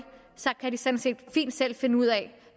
kan de sådan set fint selv finde ud af